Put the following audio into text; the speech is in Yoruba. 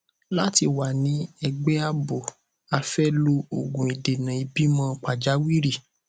láti wà ní ẹgbẹ ààbò a fẹ lo òògùn ìdènà ìbímọ pàjáwìrì